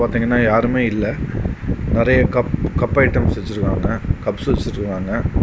ஒருத்தங்கன யாருமே இல்ல நெறைய கப் கப் ஐடெம்ஸ் வச்சிருக்காங்க கப்ஸ் வச்சிருக்காங்க.